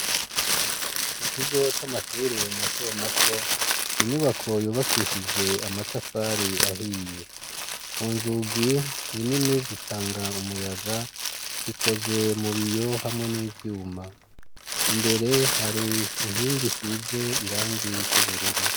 Mu kigo c'amashure mato mato inyubako yubakishije amatafari ahiye ku nzugi ni nini zitanga umuyaga zikozwe mubiyo hamwe n'ivyuma imbere hari inkingi isize irangi ry'ubururu.